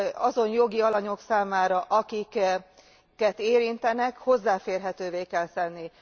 Azon jogi alanyok számára, akiket érintenek, hozzáférhetővé kell tenni.